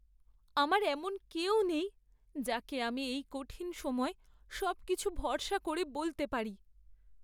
আমার এমন কেউ নেই যাকে আমি এই কঠিন সময়ে সব কিছু ভরসা করে বলতে পারি।